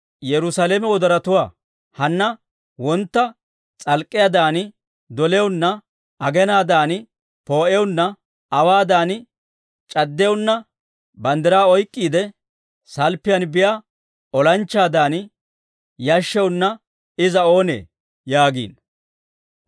Hanna wontta s'alk'k'iyaadan doliyaana, aginaadan poo'iyaanna, awaadan c'addiyaana, banddiraa oyk'k'iide salppiyaan biyaa olanchchaadan, yashshiyaanna iza oonee? yaagiino.